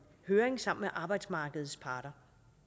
høring sammen med arbejdsmarkedets parter